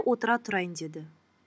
отыра тұрайын деді